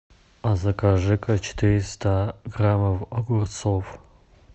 а закажи ка четыреста граммов огурцов